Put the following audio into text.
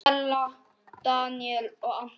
Stella, Daníel og Anton.